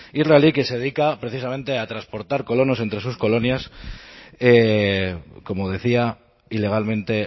israelí que se dedica precisamente a transportar colonos entre sus colonias como decía ilegalmente